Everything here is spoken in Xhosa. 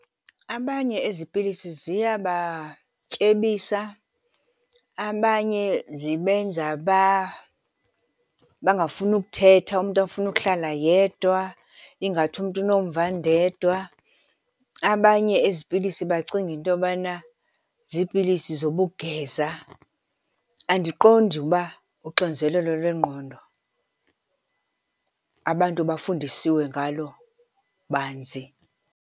Abanye ezi pilisi ziyabatyebisa. Abanye zibenza bangafuni ukuthetha, umntu afune ukuhlala yedwa ingathi umntu unomvandedwa. Abanye ezi pilisi bacinge into yobana ziipilisi zobugeza. Andiqondi uba uxinzelelo lwengqondo abantu bafundiswe ngalo banzi.